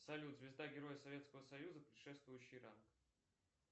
салют звезда героя советского союза предшествующий ранг